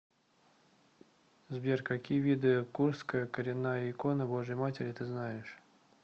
сбер какие виды курская коренная икона божией матери ты знаешь